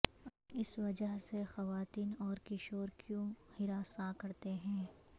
اس وجہ سے خواتین اور کشور کیوں ہراساں کرتے ہیں